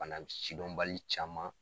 Bana m sidɔnbali caman